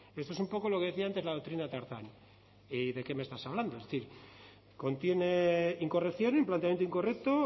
esto es un poco lo que decía antes la doctrina tarzán que de qué me estás hablando es decir contiene incorrección un planteamiento incorrecto